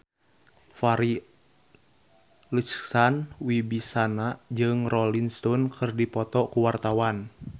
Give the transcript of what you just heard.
Farri Icksan Wibisana jeung Rolling Stone keur dipoto ku wartawan